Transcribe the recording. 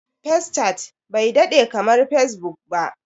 Fescat bai daɗe kamar Fesbuk ba.